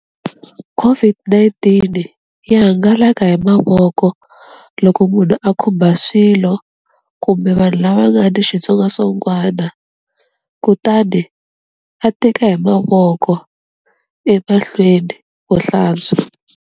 COVID-19 yi hangalaka hi mavoko loko munhu a khumba swilo kumbe vanhu lava nga ni xitsongwatsongwana, kutani a teka hi mavoko emahlweni vo hlantswa.